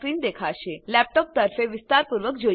હવે ચાલો લેપટોપ તરફે વિસ્તારપૂર્વક જોઈએ